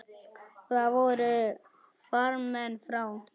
Og þar voru farmenn frá